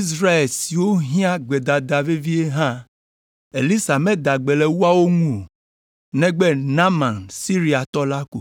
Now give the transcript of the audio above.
Israel siwo hiã gbedada vevie hã, Elisa meda gbe le woawo ŋu o, negbe Naaman Siriatɔ la ko.”